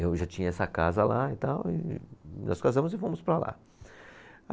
Eu já tinha essa casa lá e tal, e e nós casamos e fomos para lá.